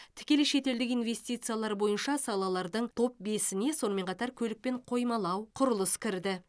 тікелей шетелдік инвестициялар бойынша салалардың топ бесіне сонымен қатар көлік пен қоймалау құрылыс кірді